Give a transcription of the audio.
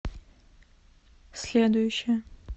следующая